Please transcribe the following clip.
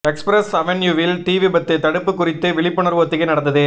express அவென்யூவில் தீ விபத்து தடுப்பு குறித்த விழிப்புணர்வு ஒத்திகை நடந்தது